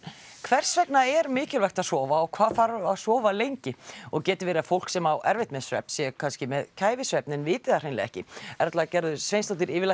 hvers vegna er mikilvægt að sofa og hvað þarf að sofa lengi og getur verið að fólk sem á erfitt með svefn sé kannski með kæfisvefn en viti það hreinlega ekki Erla Gerður Sveinsdóttir